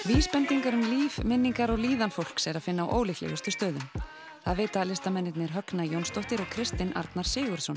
vísbendingar um líf minningar og líðan fólks er að finna á ólíklegustu stöðum það vita listamennirnir Högna Jónsdóttir og Kristinn Arnar Sigurðsson